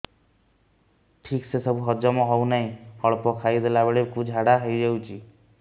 ଠିକସେ ସବୁ ହଜମ ହଉନାହିଁ ଅଳ୍ପ ଖାଇ ଦେଲା ବେଳ କୁ ଝାଡା ହେଇଯାଉଛି